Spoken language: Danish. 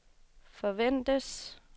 forventes